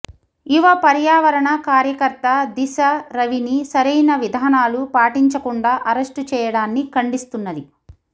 యువ పర్యావరణ కార్యకర్త దిశ రవిని సరైన విధానాలు పాటించకుండా అరెస్టు చేయడాన్ని ఖండిస్తున్నది